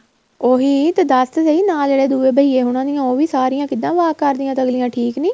ਉਹੀ ਤੇ ਦੱਸ ਤਾਂ ਸਹੀਂ ਨਾਲ ਜਿਹੜੇ ਦੂਹੇ ਬਹੀਏ ਹੋਣਾ ਦੀਆ ਉਹ ਵੀ ਸਾਰੀਆਂ ਕਿੱਦਾ walk ਕਰਦੀਆਂ ਤਾਂ ਅੱਗਲੀਆਂ ਠੀਕ ਨਹੀਂ